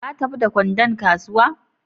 Ka tafi da kwandon kasuwa?